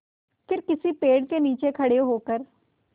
फिर किसी पेड़ के नीचे खड़े होकर